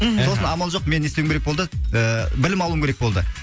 мхм сосын амал жоқ мен не істеуім керек болды і білім алуым керек болды